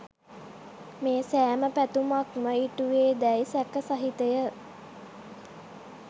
මේ සෑම පැතුමක් ම ඉටුවේ දැයි සැක සහිතය.